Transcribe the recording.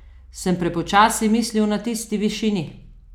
Sem prepočasi mislil na tisti višini?